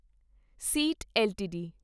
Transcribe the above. seat LTD